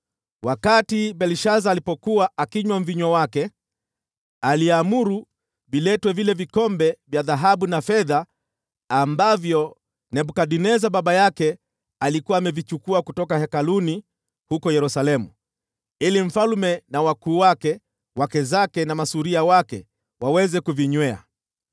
Wakati Belshaza alipokuwa akinywa mvinyo wake, aliamuru viletwe vile vikombe vya dhahabu na fedha ambavyo Nebukadneza baba yake alikuwa amevichukua kutoka hekaluni huko Yerusalemu, ili mfalme na wakuu wake, wake zake na masuria wake waweze kuvinywea.